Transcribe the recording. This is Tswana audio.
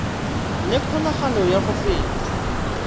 le kgonagalo ya go feta